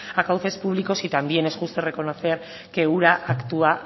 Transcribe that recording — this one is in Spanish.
a cauces públicos y también es justo reconocer que ura actúa